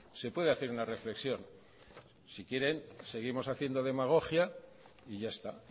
se puede hacer una reflexión si quieran seguimos haciendo demagogia y ya está